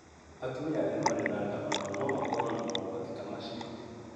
Atumia arĩa marĩ na nda o nao no makorũo na mogwati ta macio.